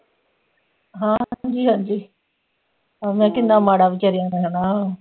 ਹਾਂ ਹਾਂਜੀ ਹਾਂਜੀ ਮੈ ਕਿਹਾ ਕਿੰਨਾ ਮਾੜਾ ਵਿਚਾਰਿਆ ਦਾ ਹੈਨਾ